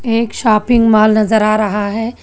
एक shopping mall नजर आ रहा है।